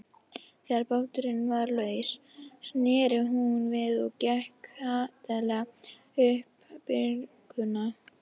Þegar báturinn var laus sneri hún við og gekk hvatlega upp bryggjuna.